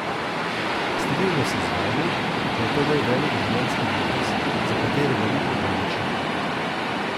Strinjam se z vami, da je to moj velik življenjski minus, za katerega ni opravičila.